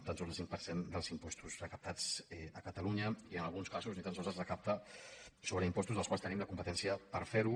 tan sols el cinc per cent dels impostos recaptats a catalunya i en alguns casos ni tan sols es recapta sobre impostos en els quals tenim la competència per fer ho